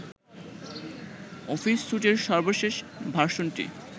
office সুটের সর্বশেষ ভার্সনটি